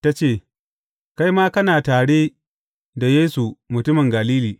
Ta ce, Kai ma kana tare da Yesu mutumin Galili.